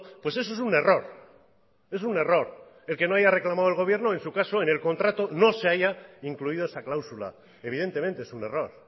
pues eso es un error es un error el que no haya reclamado el gobierno en su caso en el contrato no se haya incluido esa cláusula evidentemente es un error